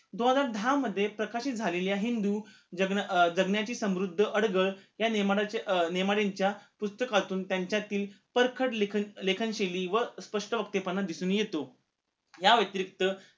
दोन हजार दहा मध्ये प्रकाशित झालेल्या हिंदु जग अं जगण्याची समृद्ध अडगळ ह्या नियमानं अं नियमनाच्या पुस्तकातून त्यांच्यातील परखड लेखनशैली व स्पष्ट वख्तपणा दिसून येतो